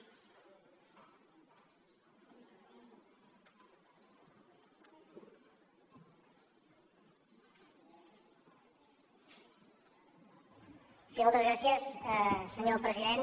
sí moltes gràcies senyor president